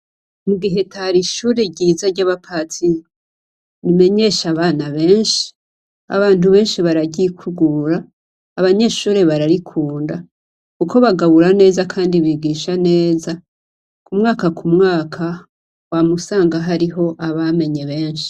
Mu giheta hari ishuri ryiza rya bapatiri rimenyesha abana benshi. Abantu benshi bararyikukugura, abanyeshure bararikunda kuko bagabura neza kandi bigisha neza kumwaka kumwakumwaka wama usanga hariho abamenye benshi.